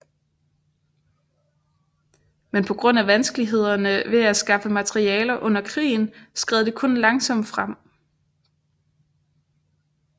Men på grund af vanskelighederne ved at skaffe materialer under krigen skred det kun langsomt frem